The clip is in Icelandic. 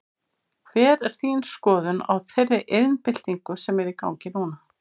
Hver er þín skoðun á þeirri iðnbyltingu sem er í gangi núna?